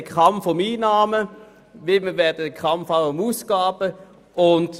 Wir haben einen Kampf um die Einnahmen und werden einen Kampf um die Ausgaben haben.